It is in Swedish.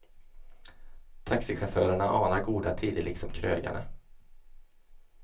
Taxichaufförerna anar goda tider liksom krögarna.